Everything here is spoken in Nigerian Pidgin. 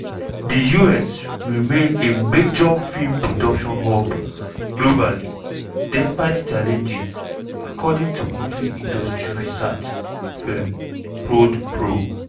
di us remain a major film production hub globally despite challenges according to movie industry research firm prodpro.